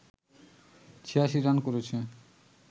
৮৬ run করেছে